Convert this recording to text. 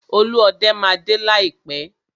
Olúọdẹ máa dé láìpẹ́.